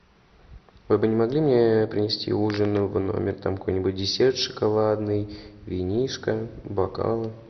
вы бы не могли мне принести ужин в номер там какой нибудь десерт шоколадный винишко бокалы